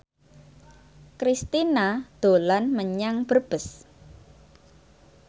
Kristina dolan menyang Brebes